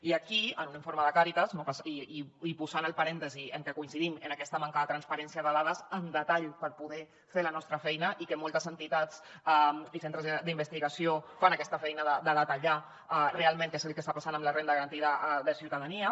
i aquí en un informe de càritas i posant el parèntesi en que coincidim en aquesta manca de transparència de dades en detall per poder fer la nostra feina i que moltes entitats i centres d’investigació fan aquesta feina de detallar realment què és el que està passant amb la renda garantida de ciutadania